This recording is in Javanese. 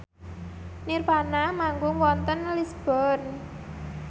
nirvana manggung wonten Lisburn